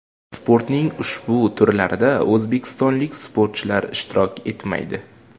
Sportning ushbu turlarida o‘zbekistonlik sportchilar ishtirok etmaydi.